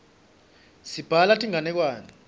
sibhala tinganekwane